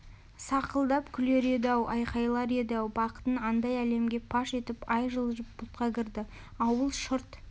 сақылдап күлер еді-ау айқайлар еді-ау бақытын айдай әлемге паш етіп ай жылжып бұлтқа кірді ауыл шырт